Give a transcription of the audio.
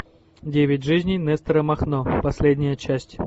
девять жизней нестора махно последняя часть